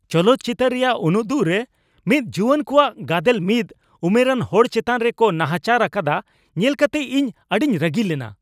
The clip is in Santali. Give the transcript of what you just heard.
ᱪᱚᱞᱚᱛ ᱪᱤᱛᱟᱹᱨ ᱨᱮᱭᱟᱜ ᱩᱱᱩᱫᱩᱜ ᱨᱮ ᱢᱤᱫ ᱡᱩᱣᱟᱹᱱ ᱠᱚᱣᱟᱜ ᱠᱟᱫᱮᱞ ᱢᱤᱫ ᱩᱢᱮᱨᱟᱱ ᱦᱚᱲ ᱪᱮᱛᱟᱱ ᱨᱮ ᱠᱚ ᱱᱟᱦᱟᱪᱟᱨ ᱟᱠᱟᱫᱟ ᱧᱮᱞ ᱠᱟᱛᱮ ᱤᱧ ᱟᱹᱰᱤᱧ ᱨᱟᱹᱜᱤ ᱞᱮᱱᱟ ᱾